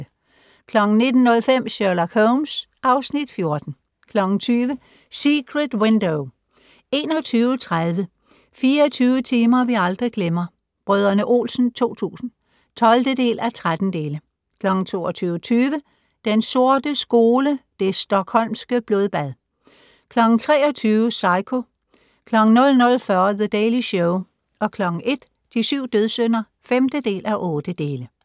19:05: Sherlock Holmes (Afs. 14) 20:00: Secret Window 21:30: 24 timer vi aldrig glemmer - Brdr. Olsen 2000 (12:13) 22:20: Den sorte skole: Det Stockholmske blodbad 23:00: Psycho 00:40: The Daily Show 01:00: De syv dødssynder (5:8)